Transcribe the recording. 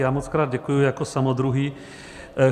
Já mockrát děkuji jako samodruhý.